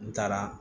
N taara